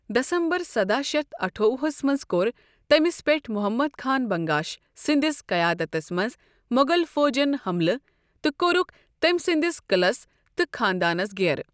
دسمبر سداہ شتھ اَٹھووُہ ہس منز كو٘ر تٔمِس پیٹھ محمد خان بنگاش سندِس قیادتس منز موغل فوجن ٛحملہٕ تٕہ کورُكھ تٔمۍ سندِس قعلس تہٕ خاندانس گھیرٕ ۔